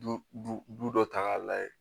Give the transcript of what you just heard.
Du bu dɔ ta k'a lajɛ